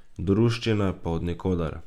Druščine pa od nikoder!